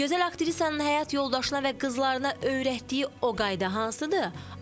Gözəl aktrisanın həyat yoldaşına və qızlarına öyrətdiyi o qayda hansıdır?